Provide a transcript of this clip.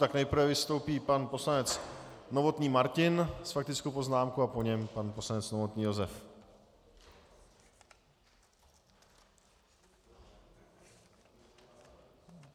Tak nejprve vystoupí pan poslanec Novotný Martin s faktickou poznámkou a po něm pan poslanec Novotný Josef.